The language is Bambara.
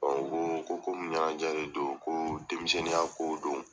u ko ko komi ɲɛnajɛ de don ko denmisɛnninya kow don.